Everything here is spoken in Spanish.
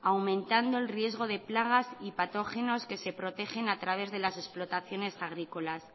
aumentando el riesgo de plagas y patógenos que se protegen a través de las explotaciones agrícolas